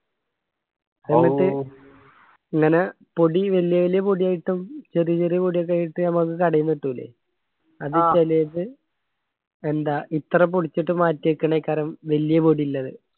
ഇങ്ങനാ പൊടി വെല്യ വെല്യ പൊടി ആയിട്ടും ചെറിയ ചെറിയ പൊടിയൊക്കെ ആയിട്ട് ഞമ്മക്ക് കടയിന്ന് കിട്ടുല്ലേ എന്താ ഇത്ര പൊടിച്ചിട്ട് മാറ്റി വെക്കണെ കരം വെല്യ പൊടി ഇല്ലത്